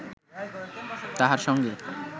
তাহার সঙ্গে